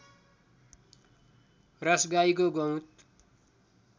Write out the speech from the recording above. रस गाईको गहुँत